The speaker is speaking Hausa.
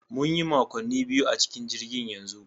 Mun yi makonni biyu a cikin jirgin yanzu